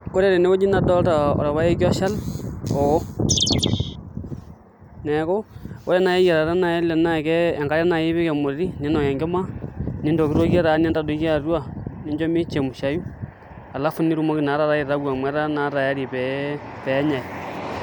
Ore tenewueji nadolta orpaeki oshal oo neeku ore naai eyiarata ele naa ke enkare naai ipik emoti niinok enkima nintokitokie taa nintadoiki atua nincho michemushiayu alafu nitumoki naa taata aitayu amu etaa tayari pee enyai.